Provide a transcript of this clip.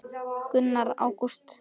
Gunnar: Ágúst?